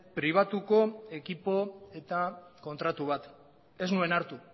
pribatuko ekipo eta kontratu bat ez nuen hartu